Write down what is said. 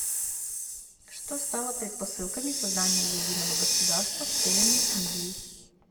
что стало предпосылками создания единого государства в северной индии